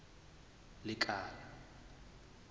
lekala